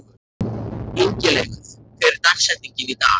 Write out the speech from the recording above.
Ingileifur, hver er dagsetningin í dag?